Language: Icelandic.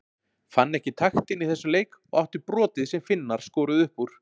Fann ekki taktinn í þessum leik og átti brotið sem Finnar skoruðu upp úr.